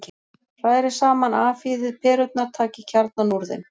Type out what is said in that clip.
Hrærið saman Afhýðið perurnar, takið kjarnann úr þeim.